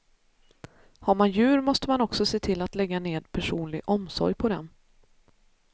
Har man djur måste man också se till att lägga ned personlig omsorg på dem.